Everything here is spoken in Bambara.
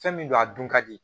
Fɛn min don a dun ka di